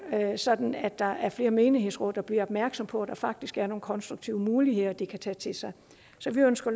sådan at der er flere menighedsråd der bliver opmærksom på at der faktisk er nogle konstruktive muligheder de kan tage til sig så vi ønsker